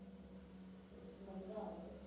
எட்டு மணிதான் ஆகுது